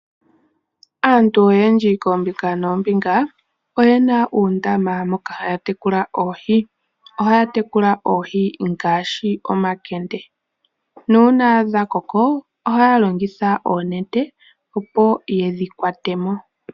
Aantu oyendji kombinga noombinga oye na uundama moka haya tekula oohi. Ohaya tekula oohi ngaashi omakende. Nuuna dha koko ohaya longitha ngaashi oonete opo yedhi kwate mo.